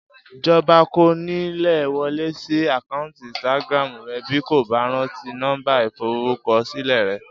Jọba kò ní lè wọlé sí àkáǹtì Instagram rẹ̀ bí kò bá rántí nọ́mbà ìforúkọsílẹ̀ rẹ̀